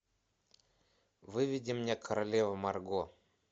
выведи мне королева марго